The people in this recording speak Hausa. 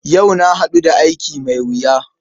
Yau na haɗu da aiki mai wuya.